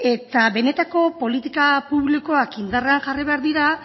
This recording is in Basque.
eta benetako politika publikoak indarrean jarri behar dira